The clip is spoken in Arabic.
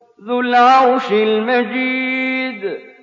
ذُو الْعَرْشِ الْمَجِيدُ